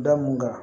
Da mun kan